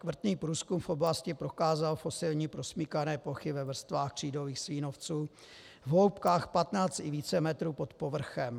Vrtný průzkum v oblasti prokázal fosilní prosmýkané plochy ve vrstvách křídových slínovců v hloubkách 15 i více metrů pod povrchem.